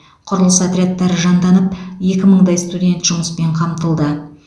құрылыс отрядтары жанданып екі мыңдай студент жұмыспен қамтылды